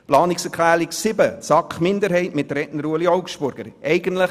Zu Planungserklärung 7 der SAK-Minderheit mit Ueli Augstburger als Redner: